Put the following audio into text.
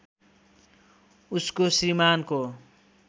उसको श्रीमानको